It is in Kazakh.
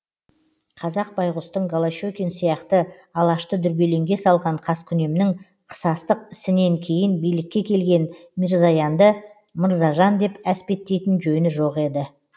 қазақ байғұстың голошекин сияқты алашты дүрбелеңге салған қаскүнемнің қысастық ісінен кейін билікке келген мирзоянды мырзажан деп әспеттейтін жөні жоқ еді